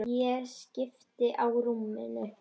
Ég skipti á rúminu.